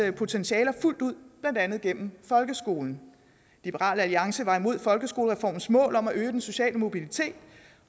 potentialer fuldt ud blandt andet gennem folkeskolen liberal alliance var imod folkeskolereformens mål om at øge den sociale mobilitet